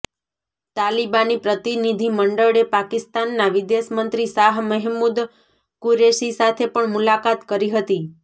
તાલિબાની પ્રતિનિધિમંડળે પાકિસ્તાનના વિદેશમંત્રી શાહ મહેમુદ કુરેશી સાથે પણ મુલાકાત કરી હતી